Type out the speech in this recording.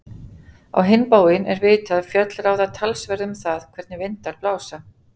Á hinn bóginn er vitað að fjöll ráða töluverðu um það, hvernig vindar blása.